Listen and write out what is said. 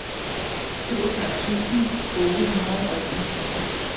syvogfyrre tusind otte hundrede og enogtyve